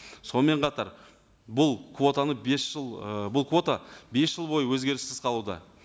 сонымен қатар бұл квотаны бес жыл ы бұл квота бес жыл бойы өзгеріссіз қалуда